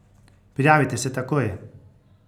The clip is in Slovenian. Prijavite se takoj!